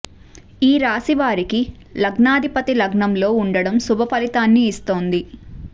ఈ రాశి వారికి లగ్నాధిపతి లగ్నంలో ఉండటం శుభ ఫలితాన్ని ఇస్తోంది